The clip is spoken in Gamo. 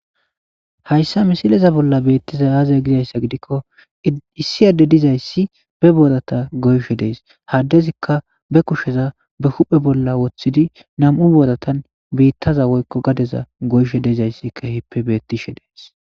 hayssa misileza bolla bettiza aazaya gizayssa gidikko issi adde dizayssi be boorata goyshe dees haddezikka be kusheza be huphe bolla woththidi nam7u booratan biittaza woykko gadeza goyshe diizayssi kehippe bettishe deesi.